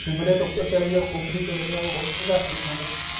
ਸਿਮਲੇ ਤੋ ਉੱਪਰ ਚੱਲੇ ਜਾਵੋ ਕੁੱਕਰੀ ਚਲੇ ਜਾਵੋ ਉਥੇ ਤਾਂ ਹੈਗੀ ਠੰਡ